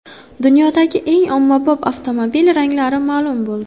Dunyodagi eng ommabop avtomobil ranglari ma’lum bo‘ldi.